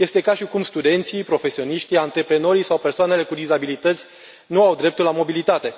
Este ca și cum studenții, profesioniștii, antreprenorii sau persoanele cu dizabilități nu au dreptul la mobilitate.